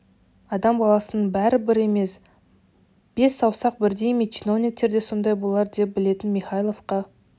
адам баласының бәрі бір емес бес саусақ бірдей ме чиновниктер де сондай болар деп білетін михайловқа